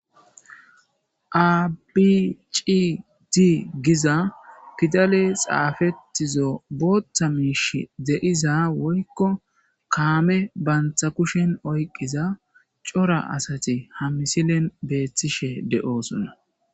Abi cidi giza fidale xaafettizo booththa miish de'iza woykko kaame bantha kushen oyqiza cora asati ha misilen beeththishe de'oosona.